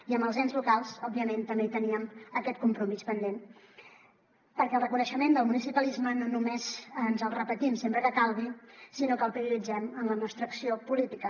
i amb els ens locals òbviament també hi teníem aquest compromís pendent perquè el reconeixement del municipalisme no només ens els repetim sempre que calgui sinó que el prioritzem en la nostra acció política